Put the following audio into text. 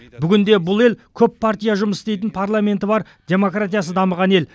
бүгінде бұл ел көп партия жұмыс істейтін парламенті бар демократиясы дамыған ел